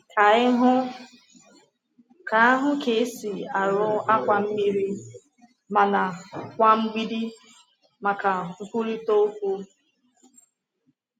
Ka anyị hụ ka hụ ka esi arụ akwa mmiri—mana kwa mgbidi—maka nkwurịta okwu.